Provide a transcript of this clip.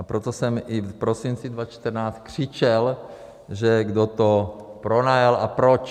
A proto jsem i v prosinci 2014 křičel, že kdo to pronajal a proč.